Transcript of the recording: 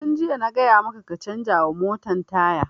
Tun jiya na gaya maka ka canza wa motan taya!